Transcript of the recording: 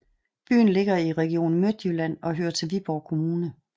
Byen ligger i Region Midtjylland og hører til Viborg Kommune